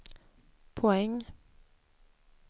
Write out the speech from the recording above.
poäng